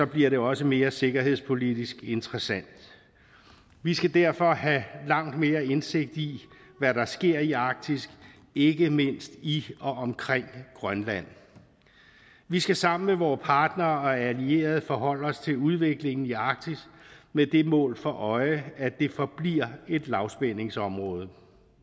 bliver det også mere sikkerhedspolitisk interessant vi skal derfor have langt mere indsigt i hvad der sker i arktis ikke mindst i og omkring grønland vi skal sammen med vore partnere og allierede forholde os til udviklingen i arktis med det mål for øje at det forbliver et lavspændingsområde